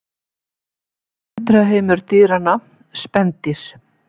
Undraheimur dýranna: Spendýr.